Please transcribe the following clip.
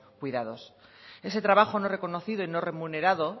cuidados ese trabajo no reconocido y no remunerado